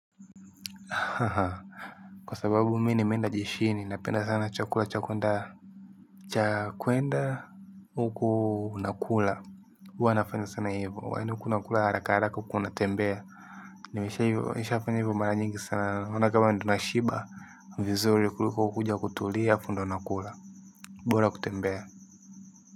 Kwa sababu mimi nimeenda jeshini napenda sana chakula cha kuenda huku nakula huwa nafanya sana hivyo yaani huku unakula haraka haraka huku unatembea nimeshafanya hivyo mara nyingi sana naona kama ndio nashiba vizuri kuliko kukuja kutulia alafu ndio nakula bora kutembea.